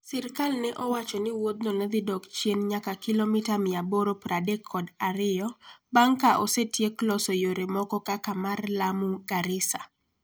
Sirkal ne owacho ni wuodhno ne dhi dok chien nyaka kilomita 832 bang' ka osetiek loso yore moko kaka mar Lamu-Garissa.